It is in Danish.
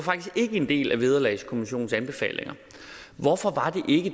en del af vederlagskommissionens anbefalinger hvorfor var